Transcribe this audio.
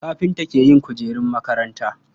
Kafinta ke yin kujerun makaranta.